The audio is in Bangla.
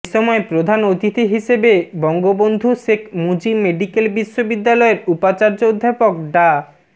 এসময় প্রধান অতিথি হিসেবে বঙ্গবন্ধু শেখ মুজিব মেডিকেল বিশ্ববিদ্যালয়ের উপাচার্য অধ্যাপক ডা